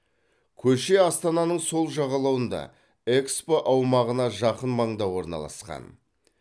көше астананың сол жағалауында экспо аумағына жақын маңда орналасқан